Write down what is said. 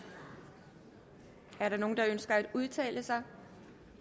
er der nogen der ønsker at udtale sig